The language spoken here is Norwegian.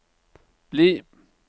bli